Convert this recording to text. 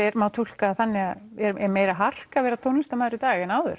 má túlka það þannig að er meira hark að vera tónlistarmaður í dag en áður